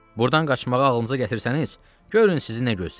Burdan qaçmağı ağlınıza gətirsəniz, görün sizi nə gözləyir.